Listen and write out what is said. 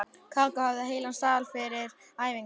Kókó hafði heilan sal fyrir æfingar.